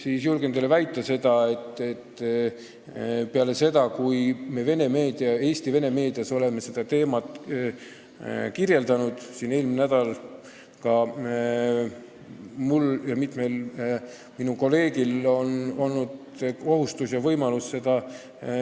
Aga julgen teile väita, et peale seda, kui me Eesti vene meedias seda teemat kirjeldasime, on see tagasiside, mis tuleb nii meediakanalitele kui ka ministeeriumisse, väga-väga suur olnud.